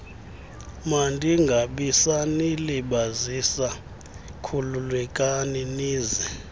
mandingabisanilibazisa khululekani nize